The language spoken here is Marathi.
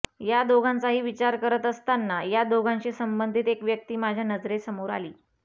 या दोघांचाही विचार करत असताना या दोघांशी संबंधित एक व्यक्ती माझ्या नजरेसमोर आली